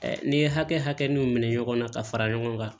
n'i ye hakɛ hakɛ n'o minɛ ɲɔgɔn na ka fara ɲɔgɔn kan